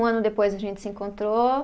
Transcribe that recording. Um ano depois a gente se encontrou.